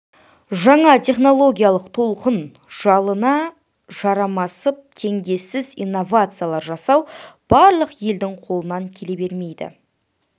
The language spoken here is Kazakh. жаңа технологиялық толқын жалына жармасып теңдессіз инновациялар жасау барлық елдің қолынан келе бермейді